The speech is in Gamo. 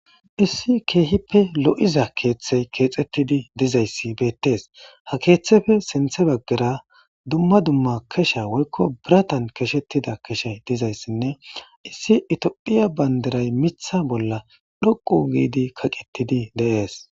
Issi keehippe lo'iza keeththey keexettidi dizayssi beettees. Ha keeththefe sinthe baggera dumma dumma kesha woykko biratan keshettida keshe dizayssinne issi Tophiya bandiray mitha bolla dhoqu giidi kaqettidi de'es.